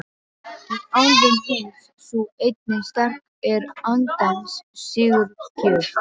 Í álfum heims sú eining sterk er andans sigurgjöf.